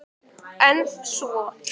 En svo?